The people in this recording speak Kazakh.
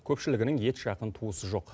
көпшілігінің ет жақын туысы жоқ